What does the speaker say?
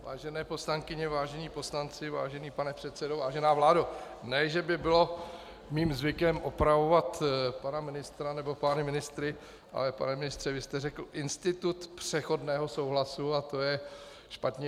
Vážené poslankyně, vážení poslanci, vážený pane předsedo, vážená vládo, ne že by bylo mým zvykem opravovat pana ministra nebo pány ministry, ale pane ministře, vy jste řekl "institut přechodného souhlasu", a to je špatně.